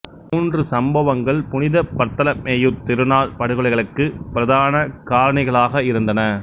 மூன்று சம்பவங்கள் புனித பர்ததலமேயுத் திருநாள் படுகொலைகளுக்கு பிரதான காரணிகளாக இருந்தன